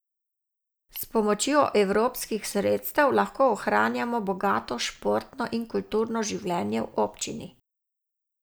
S pomočjo evropskih sredstev lahko ohranjamo bogato športno in kulturno življenje v občini.